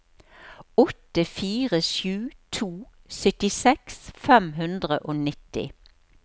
åtte fire sju to syttiseks fem hundre og nitti